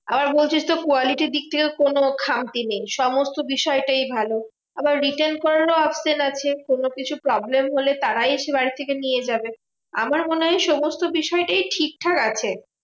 আবার বলছিস তো quality র দিক দিয়ে কোনো খামতি নেই। সমস্ত বিষয়টাই ভালো আবার return করারও option আছে কোনো কিছু problem হলে তারাই এসে বাড়ি থেকে নিয়ে যাবে। আমার মনে হয় সমস্ত বিষয়টাই ঠিকঠাক আছে।